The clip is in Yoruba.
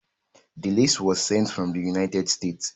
The lace was sent from the United States